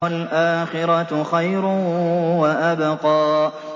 وَالْآخِرَةُ خَيْرٌ وَأَبْقَىٰ